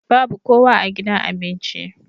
Babu kowa a gidan abinci.